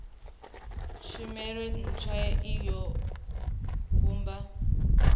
tshumelo ntswa i o vhumba